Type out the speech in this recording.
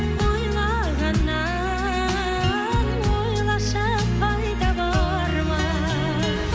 ойлағаннан ойлашы пайда бар ма